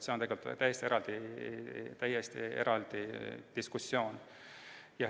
See on täiesti eraldi diskussiooni teema.